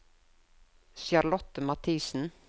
Charlotte Mathiesen